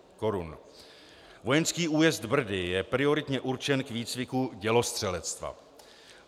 Vojenský újezd Brdy je prioritně určen k výcviku dělostřelectva.